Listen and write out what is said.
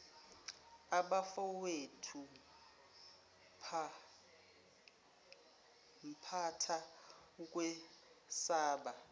abafowethu phampatha ukwesaba